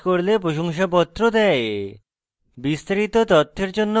online পরীক্ষা pass করলে প্রশংসাপত্র দেয়